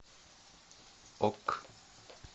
ок